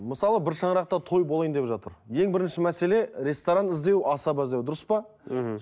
мысалы бір шаңырақта той болайын деп жатыр ең бірінші мәселе ресторан іздеу асаба іздеу дұрыс па мхм